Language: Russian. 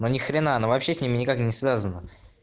ну нихрена она вообще с ними никак не связана